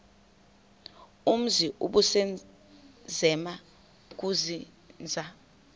umzi ubusazema ukuzinza